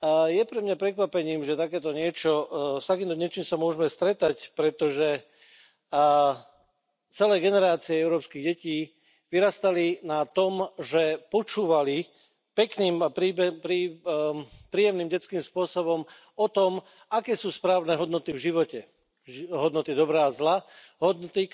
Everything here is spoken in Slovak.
Je pre mňa prekvapením, že takéto niečo, s takýmto niečím sa môžeme stretať, pretože celé generácie európskych detí vyrastali na tom, že počúvali pekným, príjemným detským spôsobom o tom, aké sú správne hodnoty v živote, hodnoty dobra a zla, hodnoty.